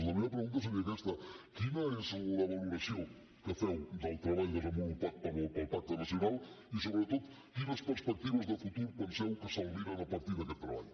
la meva pregunta seria aquesta quina és la valoració que feu del treball desenvolupat pel pacte nacional i sobretot quines perspectives de futur penseu que s’albiren a partir d’aquest treball